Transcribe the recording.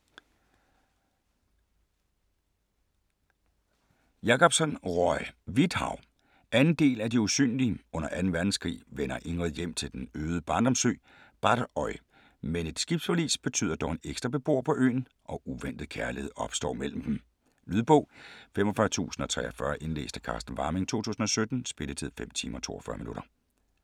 Jacobsen, Roy: Hvidt hav 2. del af De usynlige. Under 2. verdenskrig vender Ingrid hjem til den øde barndomsø Barrøy, men et skibsforlis betyder dog en ekstra beboer på øen, og uventet kærlighed opstår mellem dem. Lydbog 45043 Indlæst af Carsten Warming, 2017. Spilletid: 5 timer, 42 minutter.